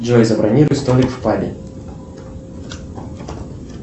джой забронируй столик в пабе